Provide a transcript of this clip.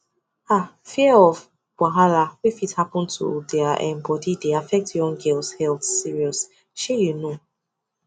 um fear of wahala wey fit happen to their um body dey affect young girls health serious shey you know